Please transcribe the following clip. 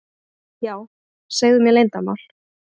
Já, segðu mér leyndarmál.